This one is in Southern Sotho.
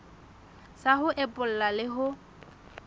sa ho epolla le ho